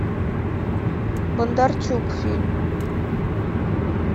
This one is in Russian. бондарчук фильм